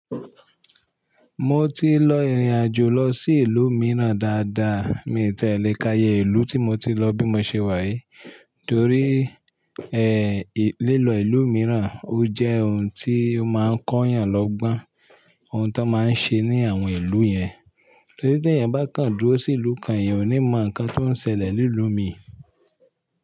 Mo ti lọ ìrìn àjò lọ sí ìlú mìíràn dáadáa, mi ò tẹ́lẹ̀ ká ye ìlú tí mo ti lọ bí mo ṣe wá yìí. Torí ẹ, lílọ ìlú mìíràn ó jẹ́ ohun tí ó máa ń kọ́ èèyàn lọ́gbọ́n ohun tó máa ń ṣe ní àwọn ìlú yẹn. Torí tí èèyàn bá kàn dúró sí ìlú kan, èèyàn ò ní mọ̀ nǹkan tó ń ṣẹlẹ̀ ní ìlú mi.